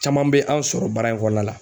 Caman be anw sɔrɔ baara in kɔnɔna la